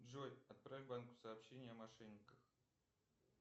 джой отправь банку сообщение о мошенниках